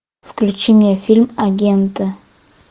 включи мне фильм агенты